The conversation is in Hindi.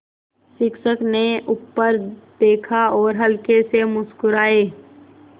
शिक्षक ने ऊपर देखा और हल्के से मुस्कराये